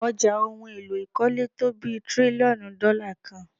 Ọjà ohun èlò ìkọ́lé tó bí tírílíọ̀nù dọ́là kan.